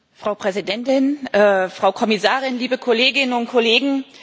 Frau Präsidentin, Frau Kommissarin, liebe Kolleginnen und Kollegen!